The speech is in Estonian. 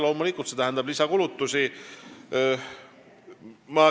Loomulikult, see tähendab lisakulutusi.